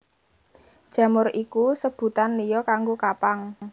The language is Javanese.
Jamur iku sebutan liya kanggo kapang